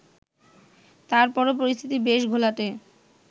তারপরও পরিস্থিতি বেশ ঘোলাটে